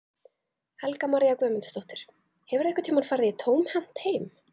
Helga María Guðmundsdóttir: Hefurðu einhvern tímann farið tómhent heim?